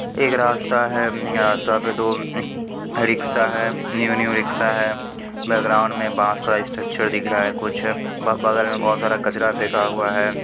एक रास्ता है अम्म यह रास्ता पे दो रिक्शा है न्यू न्यू रिक्शा है बैकग्राउंड में बांस का स्ट्रक्चर दिख रहा है कुछ ब-बगल में बहुत सारा कचड़ा फेका हुआ है।